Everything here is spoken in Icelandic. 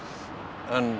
en